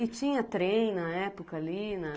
E tinha trem na época ali na...